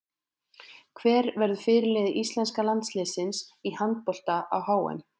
Hver verður fyrirliði íslenska landsliðsins í handbolta á HM?